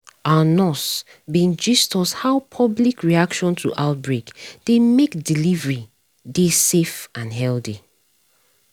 our nurse bin gist is how public reaction to outbreak dey mek delivery dey safe and healthy